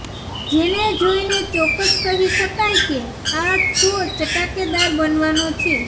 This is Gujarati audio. જેને જોઈને ચોક્કસ કહી શકાય કે આ શો ચટાકેદાર બનવાનો છે